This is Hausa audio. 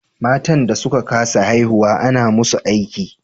Matan da suka ka sa haihuwa ana musu aiki